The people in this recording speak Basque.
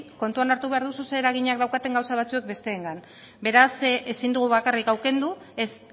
kontutan hartu behar duzu zein eraginak daukaten gauza batzuek besteengan beraz ezin dugu bakarrik hau kendu ez